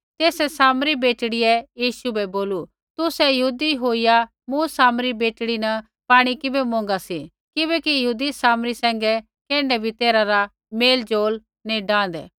तेसै सामरी बेटड़ियै यीशु बै बोलू तुसै यहूदी होईया मूँ सामरी बेटड़ी न पाणी किबै मौंगा सी किबैकि यहूदी सामरी सैंघै कैण्ढै भी तैरहै रा मेल ज़ोल नैंई डांहदे